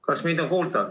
Kas mind on kuulda?